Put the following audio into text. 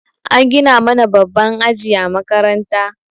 An gina mana babban aji a makaranta.